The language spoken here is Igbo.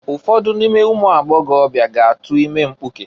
Ụfọdụ n'ime ụmụagbọgọbịa ga-atu ime mpkuke.